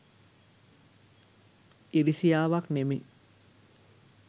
ඉරිසියාවක් නෙමේ.